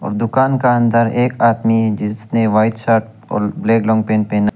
और दुकान का अंदर एक आदमी जिसने व्हाइट शर्ट और ब्लैक लॉन्ग पैंट पहेना--